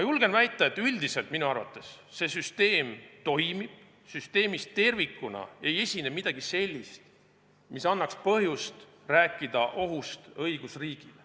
Julgen väita, et üldiselt see süsteem toimib, st süsteemis tervikuna ei esine midagi sellist, mis annaks põhjust rääkida ohust õigusriigile.